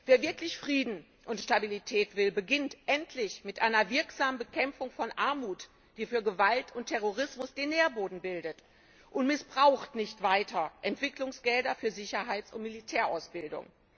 Wer wirklich Frieden und Stabilität will, beginnt endlich mit einer wirksamen Bekämpfung von Armut, die für Gewalt und Terrorismus den Nährboden bildet, und missbraucht nicht weiter Entwicklungsgelder für Sicherheits und Militärausbildung.